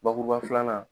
Bakuruba filanan